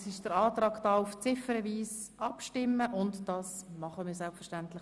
Es wurde ein Antrag auf ziffernweise Abstimmung gestellt.